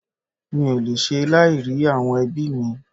Mi ò lè ṣe láì rí àwọn ẹbí mí